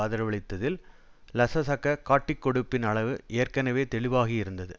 ஆதரவளித்ததில் லசசக காட்டிக்கொடுப்பின் அளவு ஏற்கனவே தெளிவாகியிருந்தது